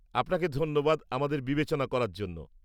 আপনাকে ধন্যবাদ আমাদের বিবেচনা করার জন্য।